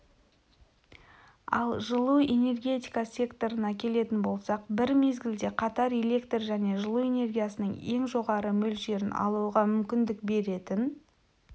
ал жылу энергетика секторына келетін болсақ бір мезгілде қатар электр және жылу энергиясының ең жоғары мөлшерін алуға мүмкіндік беретін